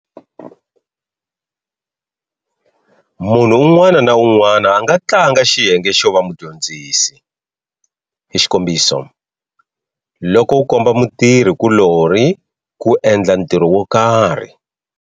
Munhu un'wana na un'wana a nga tlanga xiyenge xo va mudyondzisi, xik. loko u komba mutirhi kulori ku endla ntirho wo karhi.